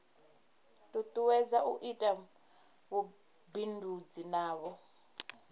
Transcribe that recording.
tutuwedza u ita vhubindudzi navho